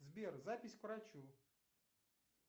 сбер запись к врачу